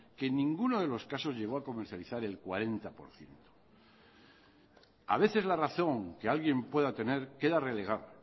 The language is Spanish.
que en ninguno de los casos llegó a comercializar el cuarenta por ciento a veces la razón que alguien pueda tener queda relegada